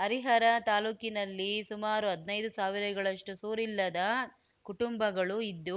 ಹರಿಹರ ತಾಲೂಕಿನಲ್ಲಿ ಸುಮಾರು ಹದ್ನೈದು ಸಾವಿರಗಳಷ್ಟುಸೂರಿಲ್ಲದ ಕುಟುಂಬಗಳು ಇದ್ದು